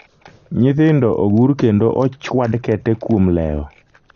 nyithindo ogur kendo ochwad kete kuom lewo